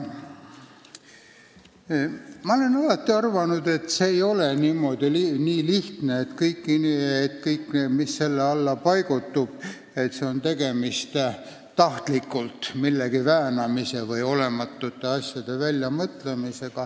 Ma olen alati arvanud, et see ei ole nii lihtne, et kõik, mis selle alla paigutub, tähendab tahtlikult millegi väänamist või olematute asjade väljamõtlemist.